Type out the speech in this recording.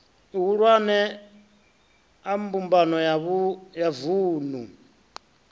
ihulwane a mbumbano ya vunu